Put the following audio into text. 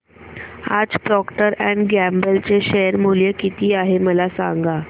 आज Procter and Gamble चे share मूल्य किती आहे मला सांगा